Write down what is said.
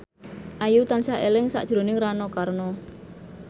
Ayu tansah eling sakjroning Rano Karno